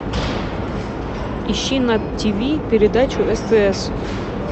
ищи на тиви передачу стс